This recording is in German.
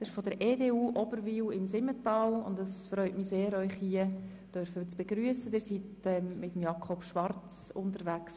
Sie sind mit Grossrat Schwarz unterwegs, und es freut mich sehr, Sie hier begrüssen zu dürfen.